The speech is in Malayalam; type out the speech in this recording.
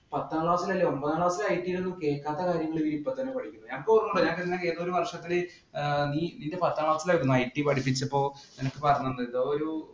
പത്താം class ഇലല്ല ഒമ്പതാം class ഇൽ IT ഇല്‍ കേൾക്കാത്ത കാര്യങ്ങൾ ഇപ്പോൾ ഇവർ ഇപ്പോൾ തന്നെ പഠിക്കുന്നു. ഞങ്ങക്കൊര്‍മ്മയുണ്ട് ഏതോ ഒരു വര്‍ഷങ്ങളില്‍ ആഹ് നീ നിന്‍റെ പത്താം class ഇല്‍ ആയിരുന്നു IT പഠിപ്പിച്ചപ്പോള്‍ നിനക്ക് പറഞ്ഞു തന്നില്ലേ ഒരു